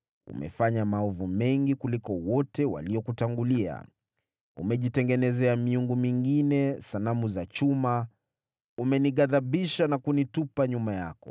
Umefanya maovu mengi kuliko wote waliokutangulia. Umejitengenezea miungu mingine, sanamu za chuma, umenighadhibisha na kunitupa nyuma yako.